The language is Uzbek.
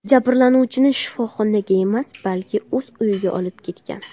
jabrlanuvchini shifoxonaga emas, balki o‘z uyiga olib ketgan.